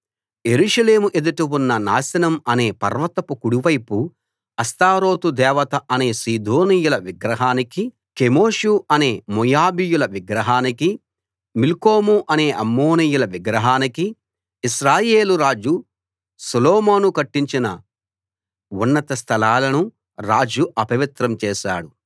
యెరూషలేము ఎదుట ఉన్న నాశనం అనే పర్వతపు కుడివైపు అష్తారోతు దేవత అనే సీదోనీయుల విగ్రహానికీ కెమోషు అనే మోయాబీయుల విగ్రహానికీ మిల్కోము అనే అమ్మోనీయుల విగ్రహానికీ ఇశ్రాయేలు రాజు సొలొమోను కట్టించిన ఉన్నత స్థలాలను రాజు అపవిత్రం చేశాడు